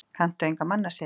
Kanntu enga mannasiði?